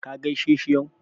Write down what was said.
Ka gaishe shi yau?